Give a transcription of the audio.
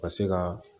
Ka se ka